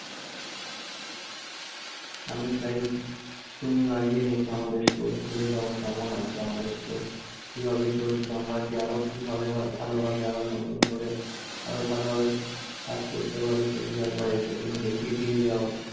আমি চাই তুমি একবার এসে আমাদের store ঘুরে যাও কেমন আছে আমাদের store? কিভাবে চলছে আমরা কি আরো কিভাবে ভালো~ ভালোভাবে আরো নতুন করে আরো ভালোভাবে কাজ করতে পারি। তুমি একবার এসে তুমি দেখিয়ে দিয়ে যাও।